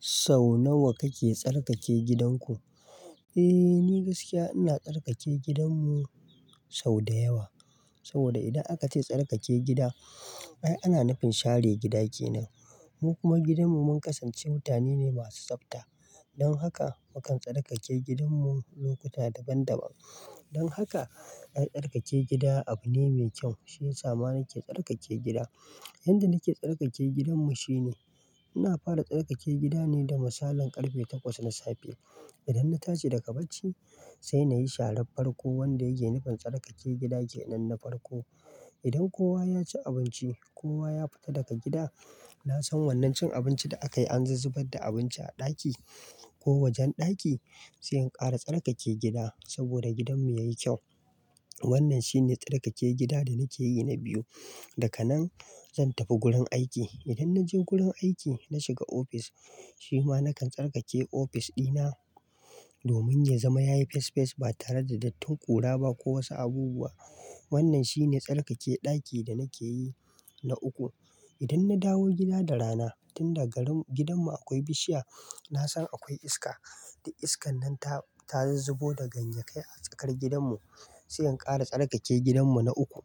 Sau nawa kake tsarkake gidanku? Eh, ni gaskiya ina tsarkake gidanmu sau da yawa. Saboda idan aka ce tsarkake gida, ai ana nufin share gida kenan. Mu kuma gidanmu mun kasance mutane ne masu tsafta. Don haka mukan tsarkake gidanmu lokuta daban-daban. Don haka, ai tsarkake gida abu ne mai kyau. Shi ya sa ma na ke tsarkake gida. Yadda nake tsarkake gidanmu shine, ina fara tsarkake gidane da misalin karfe takwas na safe. Idan na tashi daga bacci, sai nayi sharan farko wanda yake nufin tsarkake gida ke nan na farko. Idan kowa ya ci abinci, kowa ya fita daga gida, na san wannan cin abinci da aka yi an zuzzubar da abinci a ɗaki ko wajen ɗaki, sai in ƙara tsarkake gida saboda gidan mu yayi kyau. Wannan shine tsarkake gida da nake yi na biyu. Daka nan, zan tafi gurin aiki. Idan na je gurin aiki na shiga ofis, shi ma nakan tsarkake ofis ɗina domin ya zama yayi fes fes ba tare da dattun ƙura ba ko wasu abubuwa. Wannan shine tsarkake ɗaki da nake yi na uku. Idan na dawo gida da rana, tun daga gidanmu akwai bishiya, na san akwai iska. Da iskan nan ta, ta zuzzubo da ganye kai a tsakar gidanmu. Sai in ƙara tsarkake gidanmu na uku,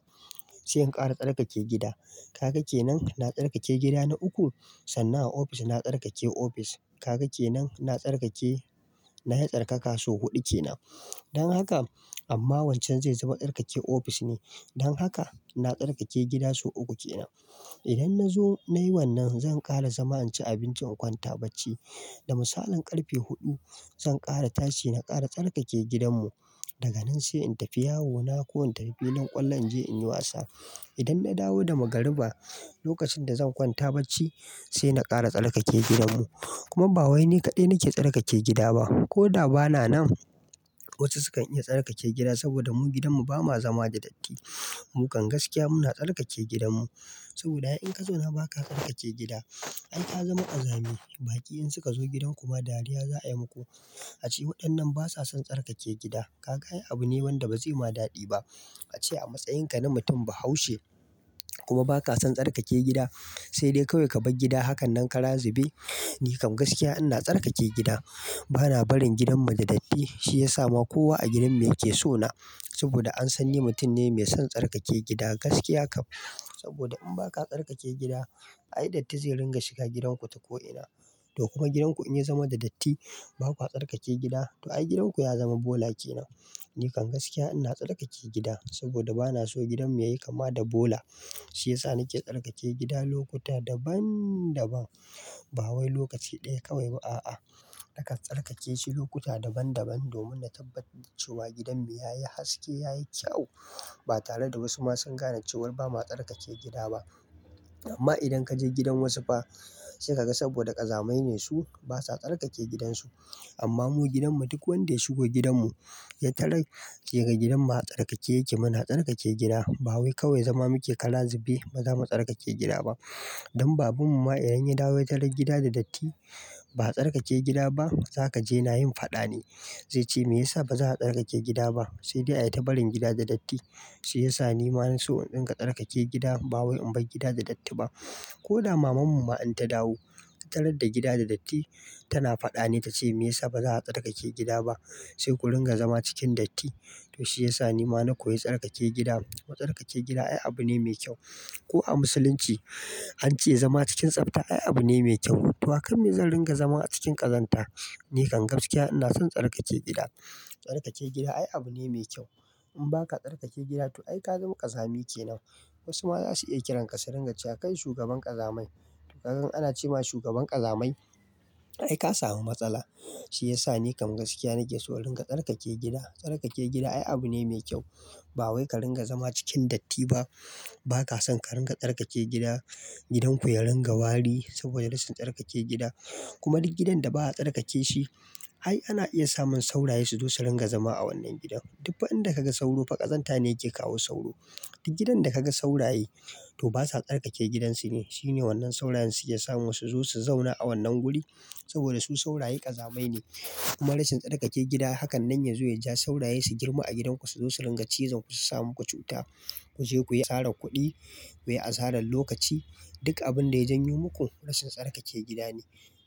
sai in ƙara tsarkake gida. Kaga kenan, na tsarkake gida na uku, sannan a ofis na tsarkake ofis. Kaga kenan, na tsarkake, na yi tsarkaka su huɗu kenan. Don haka, amma wancan zai zama tsarkake ofis ne. Don haka, na tsarkake gida su uku kenan. Idan na zo na yi wannan, zan ƙara zama in ci abinci in kwanta bacci. Da misalin karfe huɗu, zan ƙara tashi na ƙara tsarkake gidanmu. Daga nan sai in tafi yawo na ko in tafi na ƙwallon je in yi wasa. Idan na dawo da magariba, lokacin da zan kwanta bacci sai na ƙara tsarkake gidanmu. Kuma ba wai ni kaɗai nake tsarkake gida ba. Ko da ba na nan, wasu su kan iya tsarkake gida saboda mu gidanmu ba ma zama da datti. Mu kan gaskiya muna tsarkake gidanmu. Saboda ai inka zauna ba ka tsarkake gida, ai ka zama ƙazami. Baƙi in suka zo gidan ku ma dariya za a yi muku. A ce waɗannan ba sa son tsarkake gida. Ka ga abu ne wanda ba zai ma daɗi ba. A ce a matsayin ka na mutum bahaushe kuma ba ka son tsarkake gida, sai dai kawai ka bar gida. Hakan nan kara zube. Ni kam gaskiya ina tsarkake gida. Ba na barin gidan mu da datti. Shi ya sa ma kowa a gidan mu yake so na. Saboda an san ni mutum ne mai son tsarkake gida. Gaskiya kam, saboda in ba ka tsarkake gida, ai datti zai ringa shiga gidanku ta ko'ina. To kuma gidanku in ya zama da datti, bakwa tsarkake gida, to ai gidanku ya zama bola kenan. Ni kam gaskiya ina tsarkake gida saboda ba na so gidan mu yayi kama da bola. Shi ya sa na ke tsarkake gida lokuta daban-daban. Ba wai lokaci ɗaya kawai ba, a'a. Nakan tsarkake shi lokuta daban-daban domin na tabbatar da cewa gidan mu yayi haske, yayi kyau ba tare da wasu masu gane cewa ba ma tsarkake gida ba. Amma idan ka je gidan wasu fa, sai ka ga saboda ƙazamai ne su, ba sa tsarkake gidansu. Amma mu gidanmu duk wanda ya shigo gidanmu, ya talar yake ga gidan mu a tsarkake yake. Mu na tsarkake gida. Ba wai kawai zama muke kara zube, ba za mu tsarkake gida ba. Don baban mu ma idan ya dawo ya talar gida da datti, ba a tsarkake gida ba, za ka je na yin faɗa ne. Zai ce, "Me yasa ba za a tsarkake gida ba?" Sai dai ai ta barin gida da datti. Shi ya sa ni ma na so in in dinga tsarkake gida. Ba wai in bar gida da datti ba. Ko da maman mu ma in ta dawo, ta talar da gida da datti, tana faɗa ne ta ce, "Me yasa ba za a tsarkake gida ba?" Sai ku ringa zama cikin datti. To shi ya sa ni ma na koyi tsarkake gida. Wa tsarkake gida ai abu ne mai kyau. Ko a musulunci an ce zama cikin tsafta ai abu ne mai kyau. To haka me zan ringa zama a cikin ƙazanta? Ni kam gaskiya ina son tsarkake gida. Tsarkake gida ai abu ne mai kyau. In ba ka tsarkake gida to ai ka zama ƙazami kenan. Wasu ma za su iya kiran ka su ringa cewa kai shugaban ƙazamai. Ka gan ana ce ma shugaban ƙazamai? Ai ka samu matsala. Shi ya sa ni kam gaskiya nake so in ringa tsarkake gida. Tsarkake gida ai abu ne mai kyau. Ba wai ka ringa zama cikin datti ba. Ba ka son ka ringa tsarkake gida, gidanku ya ringa wari saboda rashin tsarkake gida. Kuma duk gidan da ba a tsarkake shi, ai ana iya samun sauraye su zo su ringa zama a wannan gidan. Duk inda ka ga sauro fa ƙazanta ne yake kawo sauro. Da gidan da ka ga sauraye to ba sa tsarkake gidansu ne. Shi ne wannan saurayen su yake sa mu su zo su zauna a wannan guri saboda su sauraye ƙazamai ne. Kuma rashin tsarkake gida, hakan nan ya zo ya ja sauraye su girma a gidanku su zo su ringa cizon ku, su samo ku cuta, ku je ku yi asara kuɗi, ku yi asarar lokaci. Duk abin da yajan yo muku, rashin tsarkake gida ne.